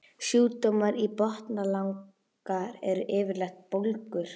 Sjúkdómar í botnlanga eru yfirleitt bólgur.